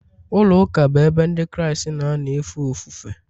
ụlọụka bụ ebe Ndị Kraịst na-anọ efe ofufe.